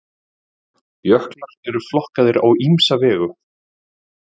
Jöklar eru flokkaðir á ýmsa vegu.